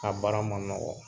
A bara ma nɔgɔ.